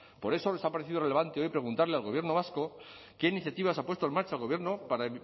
por eso nos ha parecido relevante hoy preguntarle al gobierno vasco qué iniciativas ha puesto en marcha el gobierno para